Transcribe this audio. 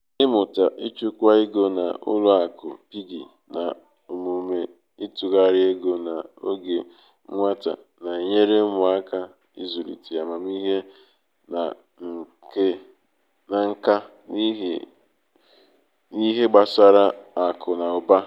ịmụta ichukwa ego na ụlọ akụ piggi na omume ịtụgharị ego n’oge nwata na-enyere ụmụaka ịzụlite amamihe na nka n’ihe gbasara akụ na ụba.